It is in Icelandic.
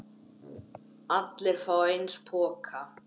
Allir fá eins poka.